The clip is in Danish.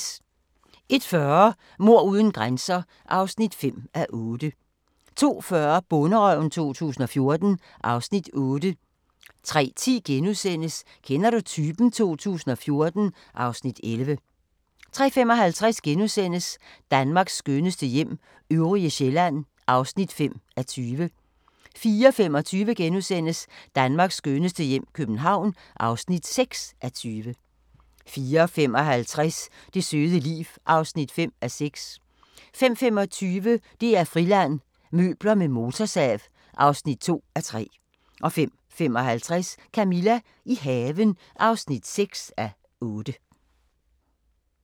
01:40: Mord uden grænser (5:8) 02:40: Bonderøven 2014 (Afs. 8) 03:10: Kender du typen? 2014 (Afs. 11)* 03:55: Danmarks skønneste hjem - øvrige Sjælland (5:20)* 04:25: Danmarks skønneste hjem - København (6:20)* 04:55: Det søde liv (5:6) 05:25: DR-Friland: Møbler med motorsav (2:3) 05:55: Camilla – i haven (6:8)